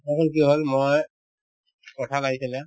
আকৌ কি হল মই কঁঠাল আহিছিলে